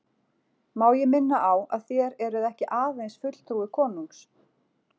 Má ég minna á að þér eruð ekki aðeins fulltrúi konungs.